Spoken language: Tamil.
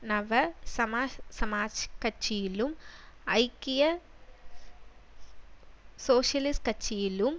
நவசமசமாஜ கட்சியிலும் ஐக்கிய சோசியலிச கட்சியிலும்